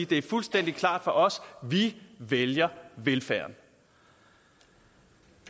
det er fuldstændig klart for os vi vælger velfærden